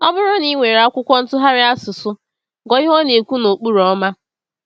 Ọ bụrụ na ị nwere akwụkwọ ntụgharị asụsụ, gụọ ihe ọ na-ekwu n’okpuru “ọma.”